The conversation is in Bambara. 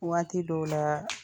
Waati dɔw la